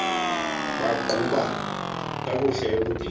baqhuba kakuhle ebudeni